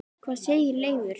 Hvað segir Leifur?